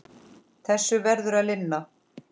Þessu verður að linna.